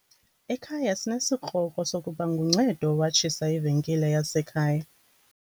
Ekhaya sinesikrokro sokuba nguNcedo owatshisa ivenkile yasekhaya.